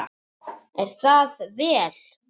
Er það vel!